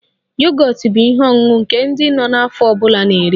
Yogọt bụ ihe ọṅụṅụ nke ndị nọ n'afọ ọ bụla na-eri